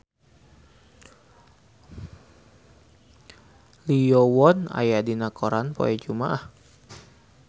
Lee Yo Won aya dina koran poe Jumaah